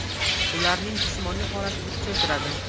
Ularning jismoniy holatini kuchaytiradi.